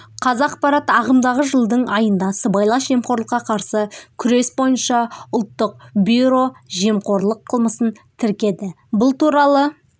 қазақпарат ағымдағы жылдың айында сыбайлас жемқорлыққа қарсы күрес бойынша ұлттық бюро жемқорлық қылмысын тіркеді бұл туралы